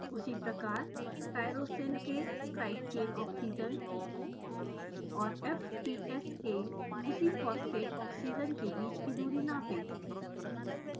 उसी प्रकार tyrosine के साइड चेन ऑक्सीजन और fps के उसी फॉस्फेट ऑक्सीजन के बीच की दूरी नापें